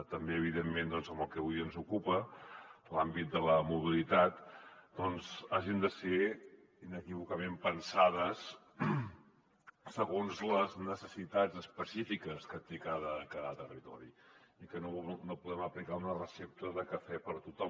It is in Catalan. també evidentment en el que avui ens ocupa l’àmbit de la mobilitat doncs hagin de ser inequívocament pensades segons les necessitats específiques que té cada territori i que no puguem aplicar una recepta de cafè per a tothom